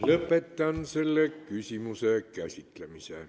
Lõpetan selle küsimuse käsitlemise.